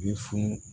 U ye funu